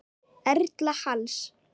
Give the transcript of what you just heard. Erla Halls.